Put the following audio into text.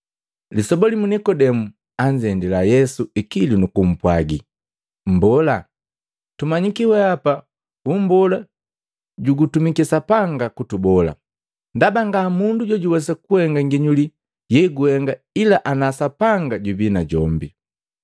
Lisoba limu Nikodemu anzendila Yesu ikilu nu kumpwaji, “Mbola, tumanyiki wehapa ummbola jugutumiki Sapanga kutubola, ndaba nga mundu jojuwesa kuhenga nginyuli yeguhenga ila ana Sapanga jubii najombi.”